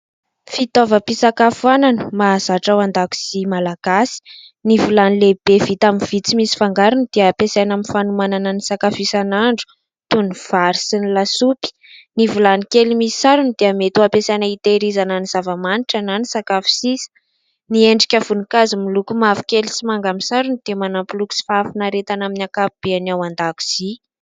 Fitaovam-pisakafoanana mahazatra ao an-dakozia malagasy : ny vilany lehibe vita amin'ny vy tsy misy fangarony dia ampiasaina amin'ny fanomanana ny sakafo isan'andro, toy ny vary sy ny lasopy. Ny vilany kely misy sarony dia mety ho ampiasaina itehirizana ny zava-manitra ny sakafo sisa. Ny endrika voninkazo miloko mavokely sy manga amin'ny sarony dia manampy loko sy fahafinaretana amin'ny ankapobeny ao an-dakozia.